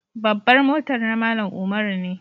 Babbar motan na Mallam Umaru ne.